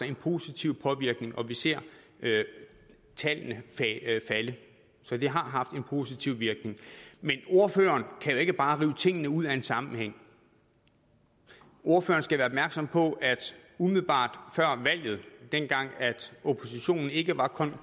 en positiv påvirkning og vi ser tallene falde så det har haft en positiv virkning men ordføreren kan jo ikke bare rive tingene ud af en sammenhæng ordføreren skal være opmærksom på at umiddelbart før valget dengang oppositionen ikke var